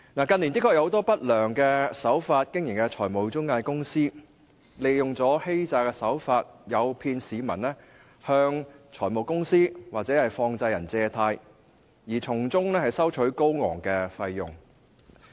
近年的確有很多以不良手法經營的財務中介公司，利用欺詐的手法，誘騙市民向財務公司或放債人借貸，從中收取高昂費用。